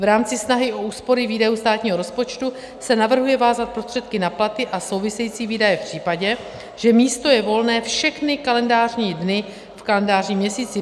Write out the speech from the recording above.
V rámci snahy o úspory výdajů státního rozpočtu se navrhuje vázat prostředky na platy a související výdaje v případě, že místo je volné všechny kalendářní dny v kalendářním měsíci.